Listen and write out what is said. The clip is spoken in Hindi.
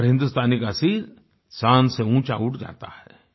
हर हिन्दुस्तानी का सिर शान से ऊँचा उठ जाता है